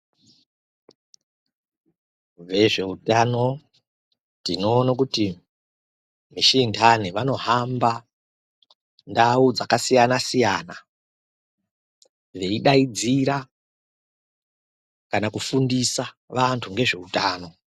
Vezveutano tinoona kuti mishindani vanohamba ndau dzakasiyana siyana veidaidzira kana kufundisa vantu ngezveutano.